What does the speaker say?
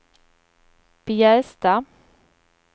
Bjästa